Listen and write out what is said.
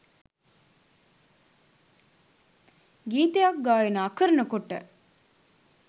ගීතයක් ගායනා කරනකොට